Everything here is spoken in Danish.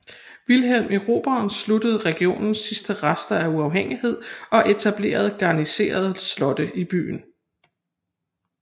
Wilhelm Erobreren sluttede regionens sidste rester af uafhængighed og etablerede garniserede slotte i byen